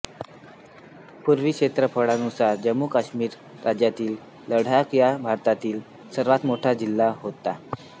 पूर्वी क्षेत्रफळानुसार जम्मु आणि काश्मिर राज्यातील लडाख हा भारतातील सर्वात मोठा जिल्हा होता